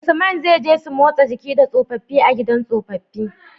Usman zai je su motsa jiki da tsofafi a gidan tsofafi